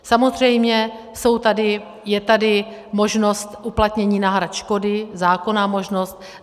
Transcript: Samozřejmě je tady možnost uplatnění náhrad škody, zákonná možnost.